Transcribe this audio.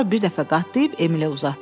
Sonra bir dəfə qatlayıb Emilə uzatdı.